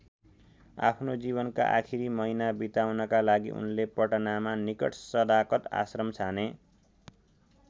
आफ्नो जीवनका आखिरी महिना बिताउनका लागि उनले पटनाका निकट सदाकत आश्रम छाने।